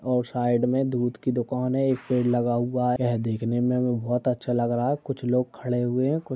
और साइड में एक दूध की दुकान है एक पेड़ लगा हुआ यह देखने में हमें बहुत अच्छा लग रहा है कुछ लोग खड़े हुए हैं। कु --